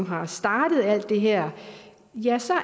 har startet alt det her ja så er